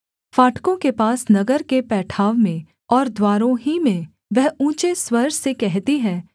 फाटकों के पास नगर के पैठाव में और द्वारों ही में वह ऊँचे स्वर से कहती है